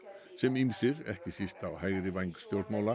sem ýmsir ekki síst á hægri væng stjórnmála